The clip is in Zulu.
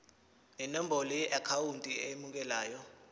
nenombolo yeakhawunti emukelayo